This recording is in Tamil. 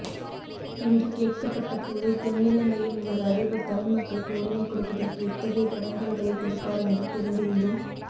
என்று கேட்கப்பட்டபோது தென்னிலங்கையின் ஒரு அதிபர் தமிழ் மக்களுக்கு உரிமை கொடுப்பதற்கு எத்தகைய தடங்கல்களை கொடுப்பார் என்று தெரிந்திருந்தும்